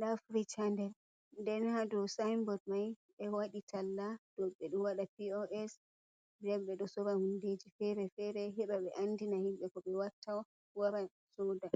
Ɗa firish ha nder. Ɗenn ha der sa'in booɗ mai be wadi talla. dau be do wada P.O.S be do sorra hundeji fere-fere heba be andina himbe ko be watta. waran sooda.